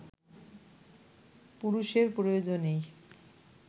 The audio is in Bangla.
পুরুষের প্রয়োজনেই